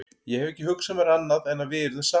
Ég hef ekki hugsað mér annað en að við yrðum saman.